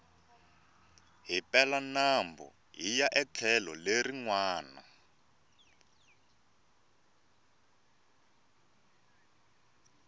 hi pela nambu hiya etlhelo leri nwana